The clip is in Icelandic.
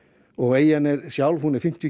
eyjan er er fimmtíu